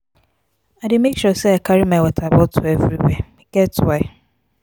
i dey make sure sey i carry my water bottle everywhere e get why.